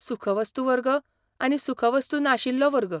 सुखवस्तू वर्ग आनी सुखवस्तू नाशिल्लो वर्ग.